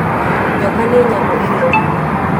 Nyoka nĩ nyamũ ĩrĩ thumu.